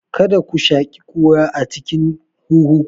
Kada ku shaƙi ƙura a cikin huhu ku!